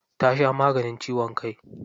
Ta sha maganin ciwon kai.